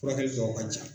Furakɛli dɔw ka ca